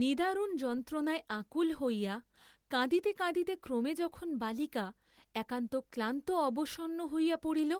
নিদারুণ যন্ত্রণায় আকুল হইয়া কাঁদিতে কাঁদিতে ক্রমে যখন বালিকা একান্ত ক্লান্ত অবসন্ন হইয়া পড়িল,